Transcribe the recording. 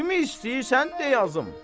Kimi istəyirsən de yazım.